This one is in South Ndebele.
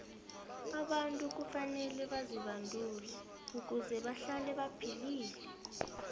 abantu kufanele bazibandule ukuze bahlale baphilile